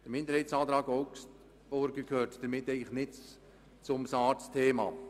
Die Planungserklärung der SAKMinderheit gehört damit eigentlich nicht zum SARZ-Thema.